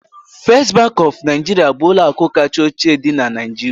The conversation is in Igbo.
First Bank of Nigeria bụ ụlọ akụ kacha ochie dị na Nigeria